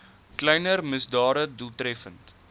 kleiner misdade doeltreffend